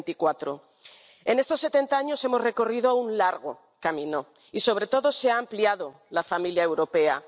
2024. En estos setenta años hemos recorrido un largo camino y, sobre todo, se ha ampliado la familia europea.